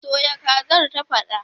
Soya kazar, ta faɗa